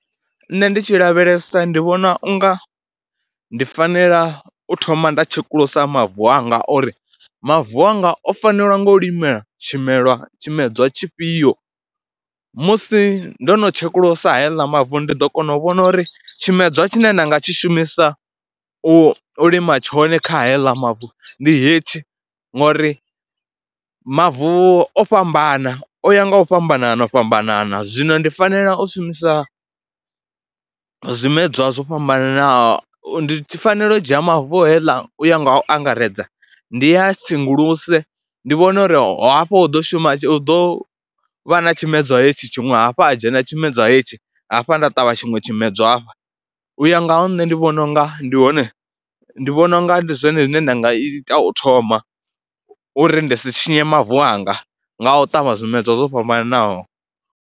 Nṋe ndi tshi lavhelesa ndi vhona u nga ndi fanela u thoma nda tshekulusa mavu anga uri mavu anga o fanelwa ngo u limela tshimelwa, tshimedzwa tshifhio. Musi ndo no tshekulusa haaḽa mavu ndi ḓo kona u vhona uri tshimedzwa tshine nda nga tshi shumisa u lima tshone kha heiḽa mavu ndi hetshi, ngori mavu o fhambana, o ya nga u fhambanana o fhambanana zwino ndi fanela u shumisa zwimedzwa zwo fhambananaho. Ndi fanela u dzhia mavu heiḽa u ya nga u angaredza ndi ya sengulusiwe, ndi vhone uri hafha hu ḓo shuma, hu ḓo vha na tshimedzwa hetshi tshiṅwe, hafhu ha dzhena tshimedzwa heyi hetshi, hafha nda ṱavha tshiṅwe tshimedzwa u ya nga ha nṋe. Ndi vhona u nga ndi hone, ndi vhona u nga ndi zwone zwine nda nga ita u thoma uri ndi si tshinye mavu anga nga u ṱavha zwimedzwa zwo fhambananaho.